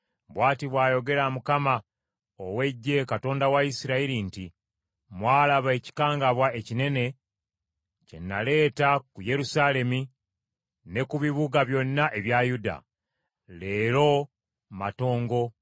“Bw’ati bw’ayogera Mukama ow’Eggye, Katonda wa Isirayiri nti, Mwalaba ekikangabwa ekinene kye naleeta ku Yerusaalemi ne ku bibuga byonna ebya Yuda. Leero matongo